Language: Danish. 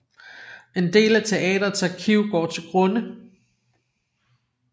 En del af teatrets arkiv går til grunde